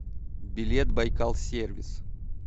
билет байкал сервис